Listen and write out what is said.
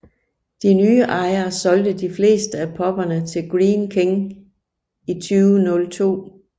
De nye ejere solgte de fleste af pubberne til Greene King i 2002